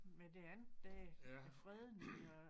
Med det andet der æ fredning og